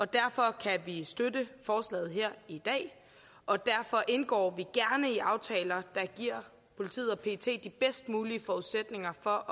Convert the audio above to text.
derfor kan vi støtte forslaget her i dag og derfor indgår vi gerne i aftaler der giver politiet og pet de bedst mulige forudsætninger for